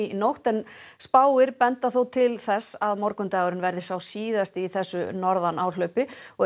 nótt en spár benda þó til þess að morgundagurinn verði sá síðasti í þessu norðanáhlaupi og er